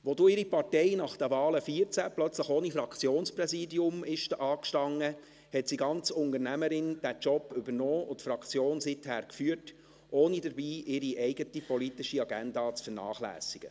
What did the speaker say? Als dann ihre Partei nach den Wahlen 2014 plötzlich ohne Fraktionspräsidium dastand, hat sie, ganz Unternehmerin, diesen Job übernommen und die Fraktion seither geführt, ohne dabei ihre eigene politische Agenda zu vernachlässigen.